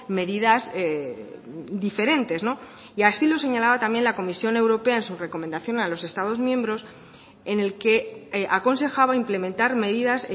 medidas diferentes y así lo señalaba también la comisión europea en su recomendación a los estados miembros en el que aconsejaba implementar medidas